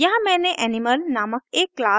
यहाँ मैंने animal नामक एक क्लास को परिभाषित किया